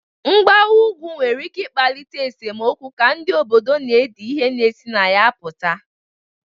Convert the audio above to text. Mgbawa ugwu nwere ike ịkpalite esemokwu ka ndị obodo na edi ihe na-esi na ya pụta